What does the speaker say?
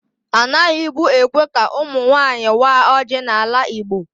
Anaghị bu ékwè ka ụmụ nwanyị waa ọji n'ala Igbo.